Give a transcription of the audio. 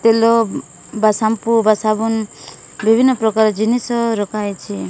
ତିଲୋ ବା ସାମ୍ପୁ ବା ସାବୁନ୍ ବିଭିନ୍ନ ପ୍ରକାର ଜିନିଷ ରଖାହେଇଚି।